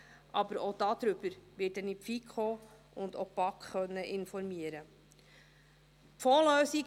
Aber auch darüber werde ich die FiKo und auch die BaK informieren können.